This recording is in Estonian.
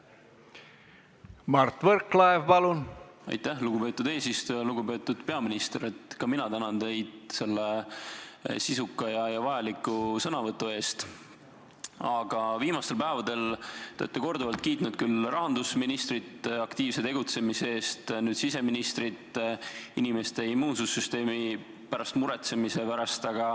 Ka mina tänan teid selle sisuka ja vajaliku sõnavõtu eest, aga viimastel päevadel te olete korduvalt kiitnud rahandusministrit aktiivse tegutsemise eest, nüüd aga siseministrit inimeste immuunsüsteemi pärast muretsemise eest.